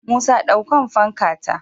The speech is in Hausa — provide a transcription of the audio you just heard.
Musa dankon fanka ta